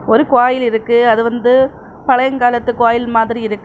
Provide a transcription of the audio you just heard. ஒரு கோயில் இருக்கு அது வந்து பழையங் காலத்து கோயில் மாதிரி இருக்கு.